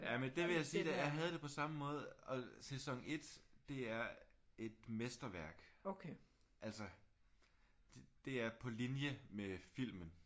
Jamen det vil jeg sige at jeg havde det på samme måde og sæson 1 det er et mesterværk altså. Det er på linje med filmen